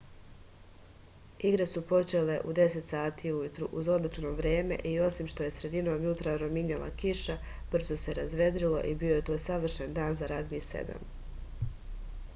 igre su počele u 10.00 ujutru uz odlično vreme i osim što je sredinom jutra rominjala kiša brzo se razvedrilo i bio je to savršen dan za ragbi 7